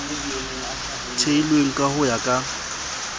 theilweng ka ho ya ka